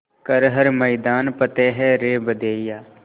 कर हर मैदान फ़तेह रे बंदेया